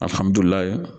Alihamudulila